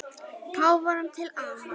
Páfanum til ama.